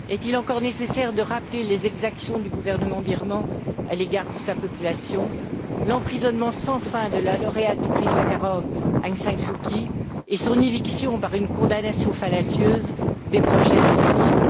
Est il encore nécessaire de rappeler les exactions du gouvernement birman à l'égard de sa population, l'emprisonnement sans fin de la lauréate du prix Sakharov, Aung San Suu Kyi, et son éviction par une condamnation fallacieuse des prochaines élections?